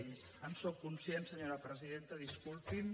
sí en sóc conscient senyora presidenta disculpi’m